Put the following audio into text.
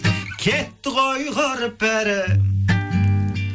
кетті ғой құрып бәрі